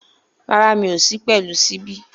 Rárá, mi ò sí pẹ̀lú ṣíbí